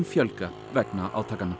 fjölga vegna átakanna